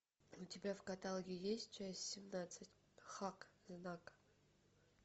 у тебя в каталоге есть часть семнадцать хак знак